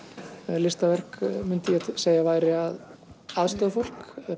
listaverk myndi ég segja að væri að aðstoða fólk